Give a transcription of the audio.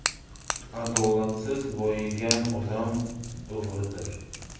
Adolatsiz boyigan odam o‘g‘ridir”.